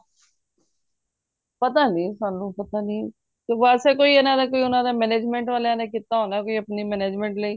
ਪਤਾ ਨਹੀਂ ਸਾਨੂੰ ਪਤਾ ਨਹੀਂ ਵੈਸੇ ਕੋਈ ਇਹਨਾਂ ਦਾ ਕੋਈ ਇਹਨਾਂ ਦਾ ਕੋਈ management ਵਾਲਿਆਂ ਨੇ ਕੀਤਾ ਹੋਣਾ ਕੋਈ ਆਪਣੀ management ਲਯੀ